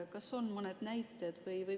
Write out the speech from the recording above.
Kas on mõned näited selle kohta?